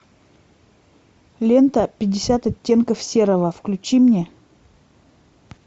лента пятьдесят оттенков серого включи мне